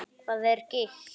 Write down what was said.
Hvað er gigt?